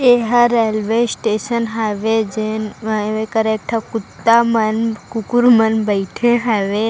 येहा railway station हवे जैन एक कै र टठा कुत्ता मन कुकुर मन बैठे हवे --